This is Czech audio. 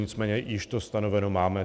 Nicméně již to stanoveno máme.